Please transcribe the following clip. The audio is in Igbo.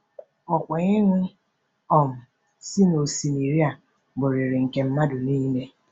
Ọkwa ịṅụ um si n’osimiri a bụrịrị nke mmadụ niile.